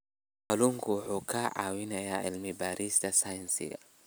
Kalluunku wuxuu ka caawiyaa cilmi-baarista sayniska.